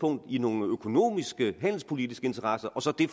i nogle økonomiske og handelspolitiske interesser og så det